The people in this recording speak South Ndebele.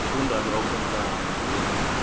funda lokhu ntanzi